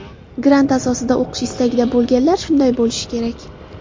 Grant asosida o‘qish istagida bo‘lganlar shunday bo‘lishi kerak.